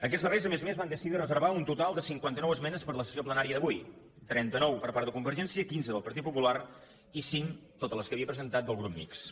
aquests darrers a més a més van decidir de reservar un total de cinquanta nou esmenes per a la sessió plenària d’avui trenta nou per part de convergència quinze del partit popular i cinc totes les que havia presentat del grup mixt